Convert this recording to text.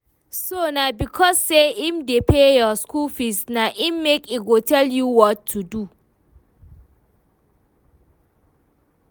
So na because say im dey pay your school fees na im make e go tell you what to do?